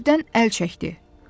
Təqibdən əl çəkdi.